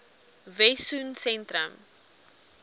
wessosentrum